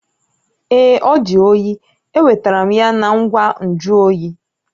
Ee, ọ di oyi. Enwetara m ya na ngwa nju oyi